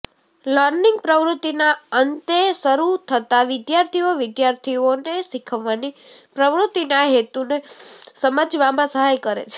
learning પ્રવૃત્તિના અંતે શરૂ થતાં વિદ્યાર્થીઓ વિદ્યાર્થીઓને શીખવાની પ્રવૃત્તિના હેતુને સમજવામાં સહાય કરે છે